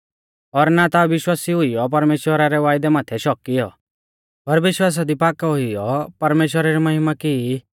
और ना ता अविश्वासी हुईयौ परमेश्‍वरा रै वायदै माथै शक किऔ पर विश्वासा दी पाकौ हुईयौ परमेश्‍वरा री महिमा की